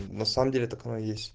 на самом деле так оно и есть